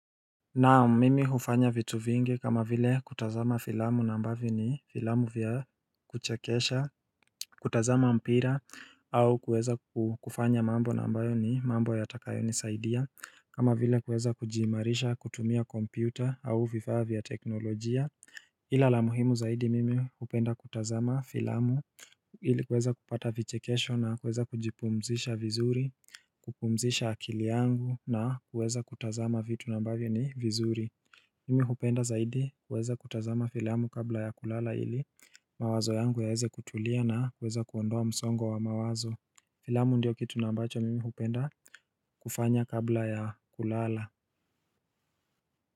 Naam mimi hufanya vitu vingi kama vile kutazama filamu na ambavyo ni filamu vya kuchekesha, kutazama mpira au kuweza kufanya mambo na ambayo ni mambo yatakayonisaidia kama vile kueza kujiimarisha kutumia kompyuta au vifaa vya teknolojia, ila la muhimu zaidi mimi hupenda kutazama filamu ili kuweza kupata vichekesho na kuweza kujipumzisha vizuri, kupumzisha akili yangu na kuweza kutazama vitu na ambavyo ni vizuri Mimi hupenda zaidi kuweza kutazama filamu kabla ya kulala ili mawazo yangu yaeze kutulia na kuweza kuondoa msongo wa mawazo Filamu ndiyo kitu na ambacho mimi hupenda kufanya kabla ya kulala.